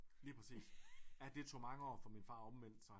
Lige præcis ja det tog mange år for min far at omvende sig